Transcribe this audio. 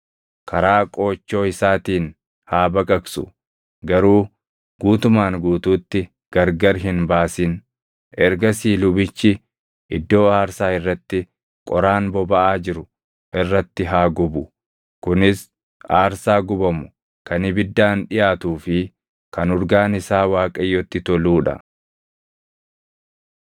Karaa qoochoo isaatiin haa baqaqsu; garuu guutumaan guutuutti gargar hin baasin; ergasii lubichi iddoo aarsaa irratti qoraan bobaʼaa jiru irratti haa gubu. Kunis aarsaa gubamu kan ibiddaan dhiʼaatuu fi kan urgaan isaa Waaqayyotti toluu dha.